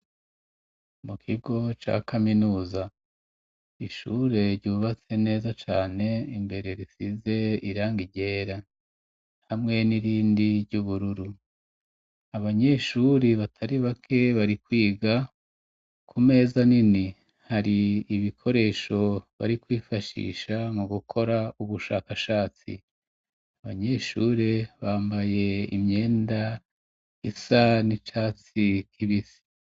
mu kigo ca kaminuza ishure ryubatse neza cane imbere risize irangi ryera hamwe n'irindi ry'ubururu abanyeshuri batari bake bari kwiga ku meza nini hari ibikoresho bari kwifashisha mu gukora ubushakashatsi abanyeshure bambaye imyenda isa n'icatsi k'ibisi